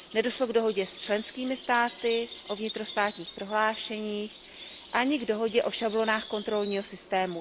Nedošlo k dohodě s členskými státy o vnitrostátních prohlášeních, ani k dohodě o šablonách kontrolního systému.